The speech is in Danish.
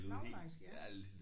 Langelandsk ja